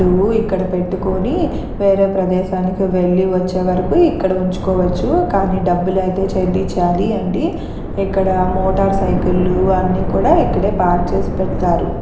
లు ఇక్కడ పెట్టుకొని వేరే ప్రదేశానికి వెళ్లి వచ్చేవరకు ఇక్కడ ఉంచుకోవచ్చు. కానీ డబ్బులు అయితే చెల్లించాలండి. ఇక్కడ మోటారు సైకిళ్ళు అన్ని కూడా ఇక్కడ పార్క్ చేసి పెడతారు.